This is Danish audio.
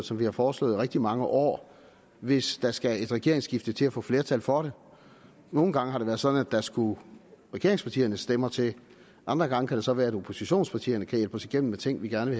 som vi har foreslået i rigtig mange år hvis der skal et regeringsskifte til at få flertal for det nogle gange har det været sådan at der skulle regeringspartiernes stemmer til andre gange kan det så være at oppositionspartierne kan hjælpe os igennem med ting vi gerne